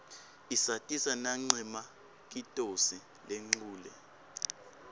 isatisa nanqemakitosi lenqule